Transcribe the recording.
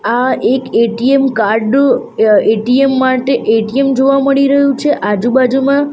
આ એક ATM card ATM માટે એ_ટી_એમ જોવા મળી રહ્યું છે આજુ-બાજુમાં --